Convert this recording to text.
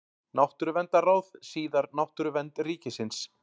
Náttúruverndarráð, síðar Náttúruvernd ríkisins.